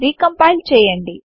recompile చేయండి